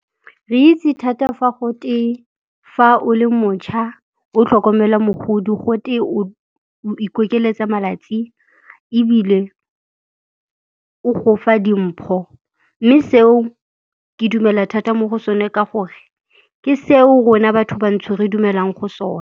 Re itse thata fa gote fa o le motšha o tlhokomela mogodi gote o ikokeletsa malatsi ebile o go fa dimpho, mme seo ke dumela thata mo go sone ka gore ke seo rona batho-bantsho re dumelang go sona.